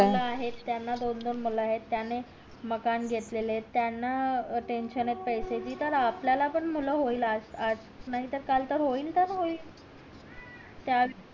मुलं आहेत त्याना दोन दोन मुलं आहेत त्याने मकान घेतलेलं आहेत त्याना त्यांच्याला पैसे तर आपल्याला पण मुलं होईल आज आज नाही तर कल होईल होईल तर होईल